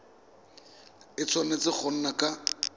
a tshwanetse go nna ka